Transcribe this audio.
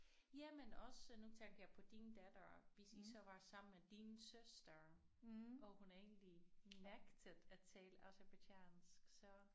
Ja men også nu tænkte jeg på din datter hvis I så var sammen med din søster og hun egentlig nægtede at tale aserbajdsjansk så